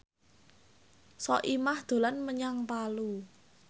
Soimah dolan menyang Palu